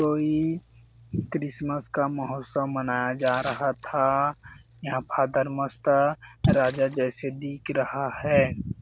कोई क्रिसमस का महोत्सव मनाया जा रहा था यहां फादर मस्त राजा जैसे दिख रहा है।